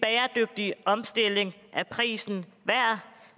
en bæredygtig omstilling er prisen værd